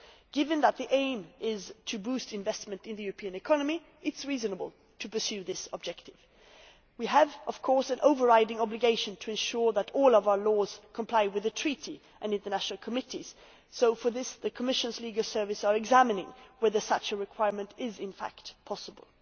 Given that the aim is to boost investment in the European economy it is reasonable to pursue this objective. We have, of course, an overriding obligation to ensure that all of our laws comply with the Treaty and international committees so, for this, the Commission's Legal Service is examining whether such a requirement is in fact possible.